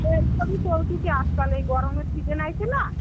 এই সবই চলতেছি আজকাল এই গরমের season আইছেনা.